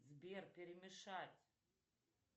сбер перемешать